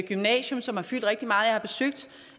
gymnasium som har fyldt rigtig meget jeg har besøgt